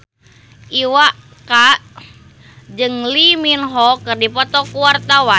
Iwa K jeung Lee Min Ho keur dipoto ku wartawan